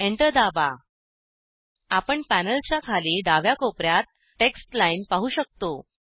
enter दाबा आपण पॅनलच्या खाली डाव्या कोपऱ्यात टेक्स्ट लाईन पाहू शकतो